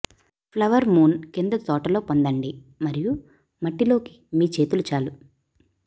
flower moon కింద తోట లో పొందండి మరియు మట్టి లోకి మీ చేతులు చాలు